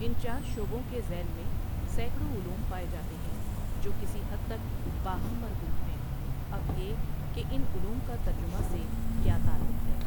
ان چار شعبوں کے ذیل میں سیکڑوں علوم پائے جاتے ہیں جو کسی حد تک باہم مربوط ہیں اب یہ کہ ان علوم کا ترجمہ سے کیا تعلق ہے ۔